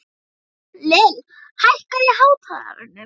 Lill, hækkaðu í hátalaranum.